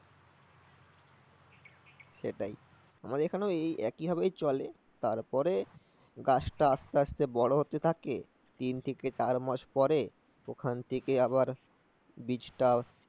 সেটাই । আমাদের এখানেও এই একই ভাবেই চলে। তারপরে গাছটা আস্তে আস্তে বড় হতে থাকে, তিন থেকে চার মাস পরে ওখান থেকে আবার বীজটার